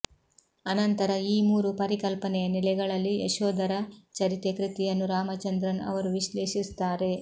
ಅನಂತರ ಈ ಮೂರೂ ಪರಿಕಲ್ಪನೆಯ ನೆಲೆಗಳಲ್ಲಿ ಯಶೋಧರ ಚರಿತೆ ಕೃತಿಯನ್ನು ರಾಮಚಂದ್ರನ್ ಅವರು ವಿಶ್ಲೇಷಿಸುತ್ತಾರೆ